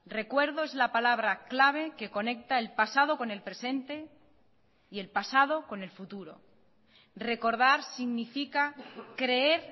recuerdo es la palabra clave que conecta el pasado con el presente y el pasado con el futuro recordar significa creer